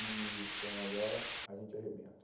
E falaram, agora a gente arrebenta.